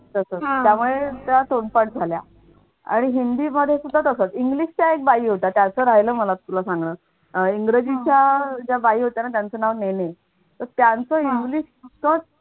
तसंच त्यामुळे त्या तोंडपाठ झाल्या आणि हिंदीमध्ये सुद्धा तसच english च्या एक बाई होत्या राहिलं मला तुला सांगन अह इंग्रजीच्या ज्या बाई होत्या त्यांचं नाव नेने.